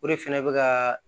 O de fɛnɛ bɛ ka